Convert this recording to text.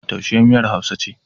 Taushe miyar Hausa ce.